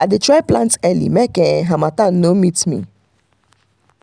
i dey try plant early make um harmattan no meet me.